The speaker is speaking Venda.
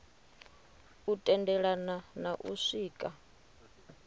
u tendelana na u swika